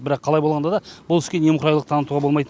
бірақ қалай болғанда да бұл іске немқұрайлылық танытуға болмайт